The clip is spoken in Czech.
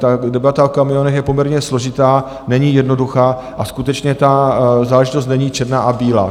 Ta debata o kamionech je poměrně složitá, není jednoduchá, a skutečně ta záležitost není černá a bílá.